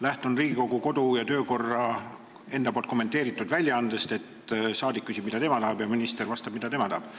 Lähtun Riigikogu kodu- ja töökorra kommenteeritud väljaandest: saadik küsib, mida tema tahab, ja minister vastab, mida tema tahab.